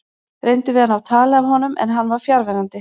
Reyndum við að ná tali af honum en hann var fjarverandi.